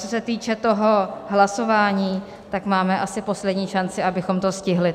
Co se týče toho hlasování, tak máme asi poslední šanci, abychom to stihli.